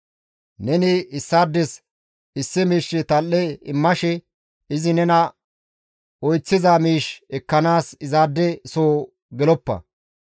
Neni issaades issi miishshe tal7e immashe izi nena oyththiza miish ekkanaas izaade soo geloppa.